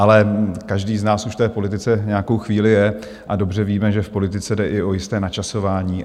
Ale každý z nás už v politice nějakou chvíli je a dobře víme, že v politice jde i o jisté načasování.